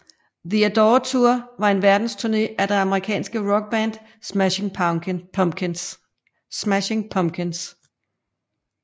The Adore Tour var en verdensturné af det amerikanske rockband Smashing Pumpkins